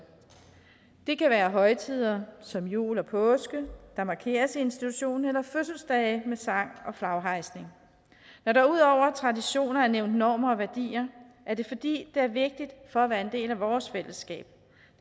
det kan være højtider som jul og påske der markeres i institutionen eller fødselsdage med sang og flaghejsning når der ud over traditioner er nævnt normer og værdier er det fordi det er vigtigt for at være en del af vores fællesskab